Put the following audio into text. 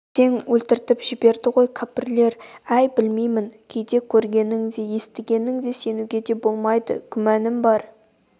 әттең өлтіртіп жіберді ғой кәпірлер әй білмеймін кейде көргеніңе де естігеніңе де сенуге болмайды күмәнім бар